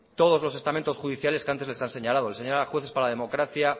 todos los estamentos judiciales que antes les han señalado les han señalado jueces para la democracia